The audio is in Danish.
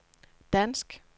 dansk